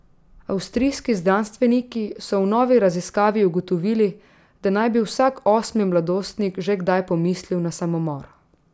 Avstrijski znanstveniki so v novi raziskavi ugotovili, da naj bi vsak osmi mladostnik že kdaj pomislil na samomor.